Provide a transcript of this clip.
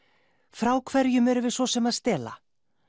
frá hverjum erum við svo sem að stela